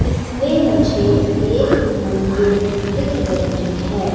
इसमें मुझे एक मंदिर दिख रही हैं।